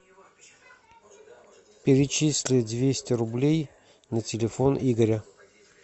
перечисли двести рублей на телефон игоря